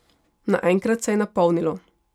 Naenkrat se je napolnilo.